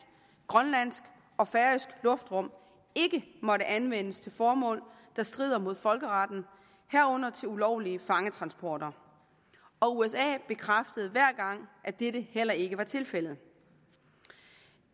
grønlandsk og færøsk luftrum ikke måtte anvendes til formål der strider mod folkeretten herunder til ulovlige fangetransporter og usa bekræftede hver gang at dette heller ikke var tilfældet